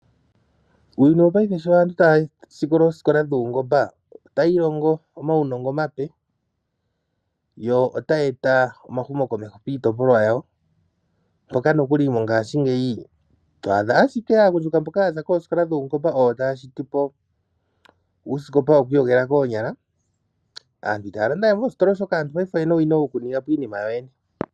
Muuyuni wo paifa sho aantu sho taya sikola ooskola dhuungomba, taya iilongo omaunongo omape, yo taya eta omahumo komeho miitopolwa yawo, moka nokuli mongashingeyi twaadha ashike aagundjuka mboka yaza koskola dho paungomba oyo taya shitipo uuskopa wo kwiiyogela koonyala. Aantu itaya landa we moostola oshoka aanti oyena owina oku ningapo iinima tawo yoyene.